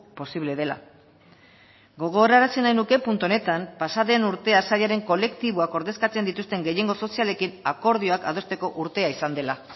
posible dela gogoarazi nahi nuke puntu honetan pasaden urtea sailaren kolektiboak ordezkatzen dituzten gehiengo sozialekin akordioak adosteko urtea izan dela